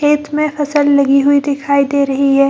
खेत में फसल लगी हुई दिखाई दे रही है।